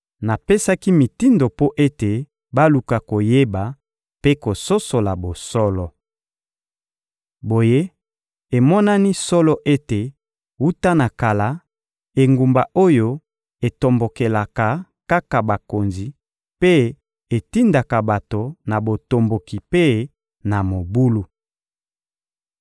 Napesaki mitindo mpo ete baluka koyeba mpe kososola bosolo. Boye emonani solo ete, wuta na kala, engumba oyo etombokelaka kaka bakonzi mpe etindaka bato na botomboki mpe na mobulu.